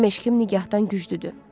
Mənim eşqim nigahdan güclüdür.